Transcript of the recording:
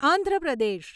Andhra Pradesh